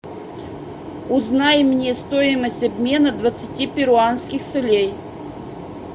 узнай мне стоимость обмена двадцати перуанских солей